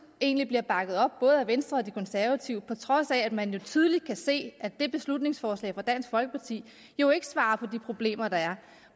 egentlig bliver bakket op af både venstre og de konservative på trods af at man jo tydeligt kan se at det beslutningsforslag fra dansk folkeparti jo ikke svarer på de problemer der er